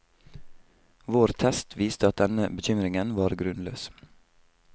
Vår test viste at denne bekymringen var grunnløs.